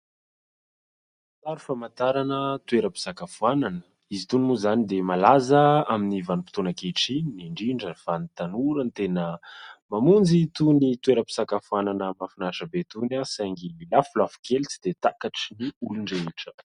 Sary famantarana toeram-pisakafoanana. Izy itony moa izany dia malaza amin'ny vanim-potoana ankehitriny, indrindra fa ny tanora no tena mamonjy itony toeram-pisakafoanana mahafinaritra be itony, saingy lafolafo kely tsy dia takatry ny olon-drehetra.